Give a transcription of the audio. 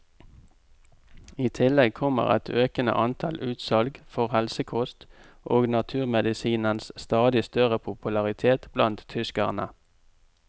I tillegg kommer et økende antall utsalg for helsekost og naturmedisinens stadig større popularitet blant tyskerne.